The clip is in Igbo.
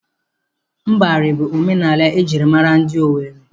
Mbari bụ omenala ejịrị maara ndị Owere.